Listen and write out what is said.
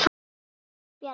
Benni Bjarna.